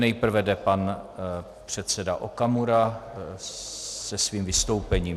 Nejprve jde pan předseda Okamura se svým vystoupením.